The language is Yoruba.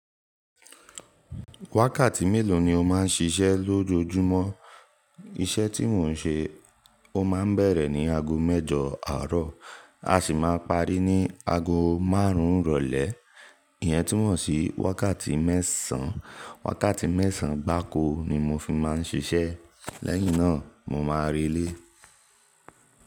Wákàtí mélòó ni o máa ń ṣiṣẹ́ lójoojúmọ́? Iṣẹ́ tí mò ń ṣe ó máa ń bẹ̀rẹ̀ ní ago mẹ́jọ àárọ̀, a sì máa parí ní ago márùn-ún ìrọ̀lẹ́. Ìyẹn túmọ̀ sí wákàtí mẹ́sàn-án. Wákàtí mẹ́sàn-án gbáko ni mo fi máa ń ṣiṣẹ́ lẹ́yìn náà mo má relé.